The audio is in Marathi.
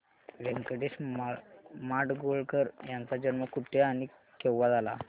व्यंकटेश माडगूळकर यांचा जन्म कुठे आणि केव्हा झाला